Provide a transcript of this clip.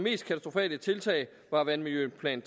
tiltag var vandmiljøplan